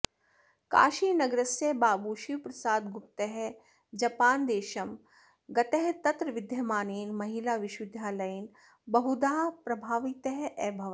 काशीनगरस्य बाबू शिवप्रसादगुप्तः जपान्देशं गतः तत्र विद्यमानेन महिलाविश्वविद्यालयेन बहुधा प्रभावितः अभवत्